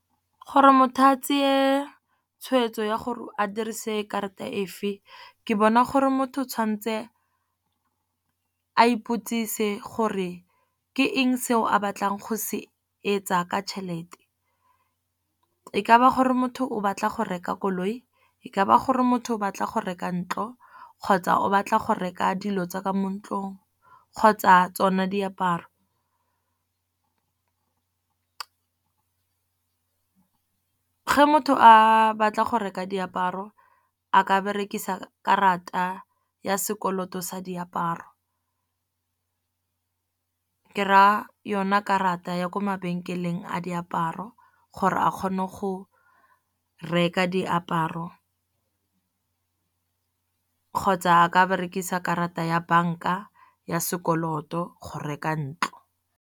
Gore motho a tseye tshweetso ya gore a dirise karata efeng, ke bona gore motho o tshwanetse a iputsise gore ke eng seo a batlang go se etsa ka tšhelete. E ka ba gore motho o batla go reka koloi, e ka ba gore motho o batla go reka ntlo, kgotsa o batla go reka dilo tsa ka mo ntlong, kgotsa tsona diaparo. Ge motho a batla go reka diaparo a ka berekisa karata ya sekoloto sa diaparo, ke ra yona karata ya ko mabenkeleng a diaparo gore a kgone go reka diaparo. Kgotsa a ke berekisa karata ya bank-a ya sekoloto go reka ntlo.